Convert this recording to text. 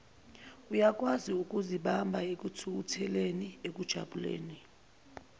uyakwaziukuzibamba ekuthukutheleni ekujabuleni